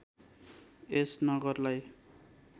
यस नगरलाई